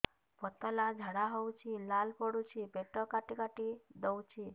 ପତଳା ଝାଡା ହଉଛି ଲାଳ ପଡୁଛି ପେଟ କାଟି କାଟି ଦଉଚି